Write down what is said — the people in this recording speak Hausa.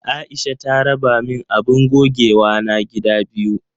Aisha ta raba min abun gogewana gida biyu.